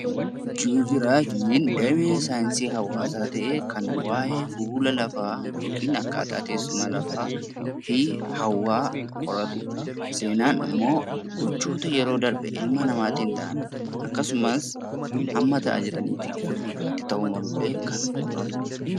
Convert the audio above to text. Joogiraafiin damee saayinsii hawaasaa ta'ee kan waayee fuula lafaa yookiin akkaataa teessuma lafaafi hawwaa qoratudha. Seenaan ammoo gochoota yeroo darbe ilma namaatiin ta'an akkasumas amma ta'aa jiraniifi gara fuulduraatti ta'uu malullee kan qoratudha.